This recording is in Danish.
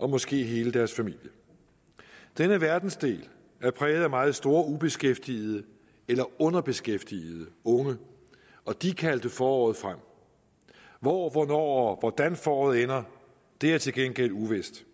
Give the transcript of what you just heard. og måske hele deres familie denne verdensdel er præget af meget store grupper af ubeskæftigede eller underbeskæftigede unge og de kaldte foråret frem hvor hvornår og hvordan foråret ender er til gengæld uvist